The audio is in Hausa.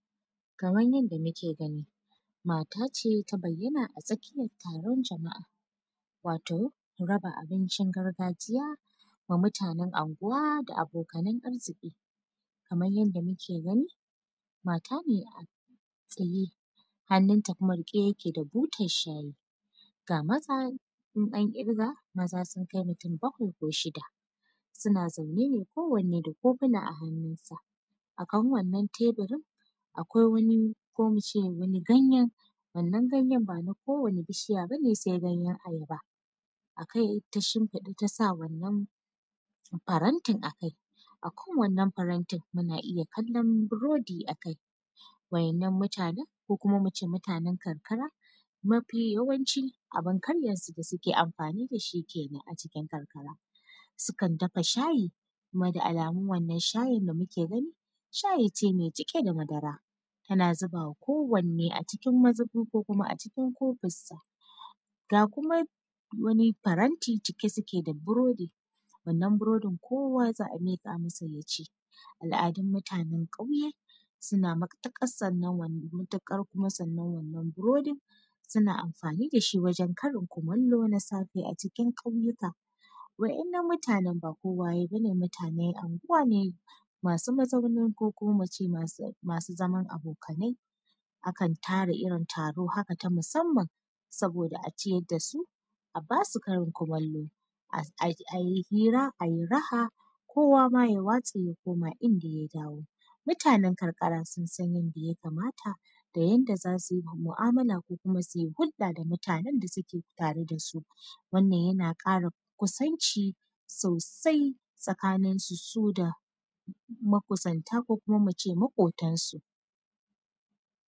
Kamar yadda muke gani mat ace ta bayyana a tsakiyar taron jama’a wato raba abincin gargajiya wa mutanan unguwa da abokan arziki, kamar yadda muke gani mata ne a tsaye hannunta kuma rike yake da butan shayi ga maza in an kirka maza sun kai mutum bakwai ko shida suna zaune ne kowane da kofuna a hannun sa a kan wannan teburin akwai wani ko muce wannan ganyan ban a kowane bishiya bane sai ganyan ayaba akai ta shinfiɗa tasa wannan farantin akai akan wannan farantin muna iya kalon burodi akai waɗannan mutanan ko kuma muce mutanan karkara mafi yawanci abun karyan da suke amfani da shi kenan a cikin karkara sukan dafa shayi kuma da alamun wannan shayin da muke gani shay ice mai cike da madara tana zuba ma kowane a cikin mazuba ko a cikin kofin sag a kuma wani faranti cike suke da burodi wannan burodin kowa za a mika masa ya ci, al’adun mutanan ƙauye suna matukar san wannan burodin suna amfani da shi wajen Karin kumallo na safe a cikin ƙauyuka waɗannan mutanan unguwa ne masu mazauni ko kuma ince masu zaman abokanai akan tara irin taro haka na musamman saboda a ciyar dasu a basu Karin kumallo ayi hira ayi raha koma ya waste ya koma inda ya dawo mutanan karkara sun san yadda ya kamata da yadda zasu yi mu’amala ko kuma suyi hulɗa da mutanan da suke tare da su wannan yana kara kusanci sosai tsakanin su da makusanta ko kuma ince maƙotan su.